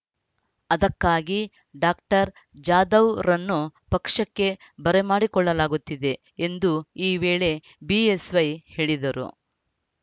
ಅದಕ್ಕಾಗಿ ಡಾಕ್ಟರ್ ಜಾಧವ್‌ರನ್ನು ಪಕ್ಷಕ್ಕೆ ಬರಮಾಡಿಕೊಳ್ಳಲಾಗುತ್ತಿದೆ ಎಂದು ಈ ವೇಳೆ ಬಿಎಸ್‌ವೈ ಹೇಳಿದರು